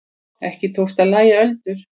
Ekki tókst að lægja öldur.